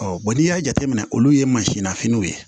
n'i y'a jateminɛ olu ye mansin nafiniw ye